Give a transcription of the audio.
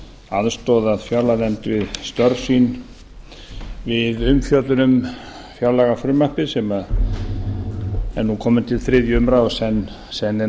aðstoðað fjárlaganefnd við störf sín við umfjöllun um fjárlagafrumvarpið sem er nú komið til þriðju umræðu og senn er